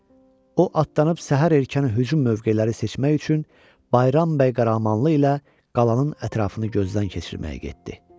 O atlanıb səhər erkəni hücum mövqeləri seçmək üçün Bayram bəy Qəhrəmanlı ilə qalanın ətrafını gözdən keçirməyə getdi.